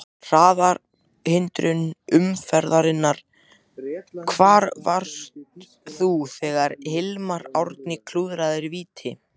Hraðahindrun umferðarinnar: Hvar varst þú þegar Hilmar Árni klúðraði víti?